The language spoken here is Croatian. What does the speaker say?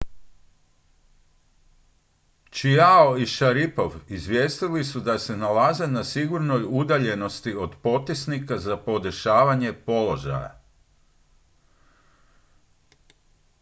chiao i šaripov izvijestili su da se nalaze na sigurnoj udaljenosti od potisnika za podešavanje položaja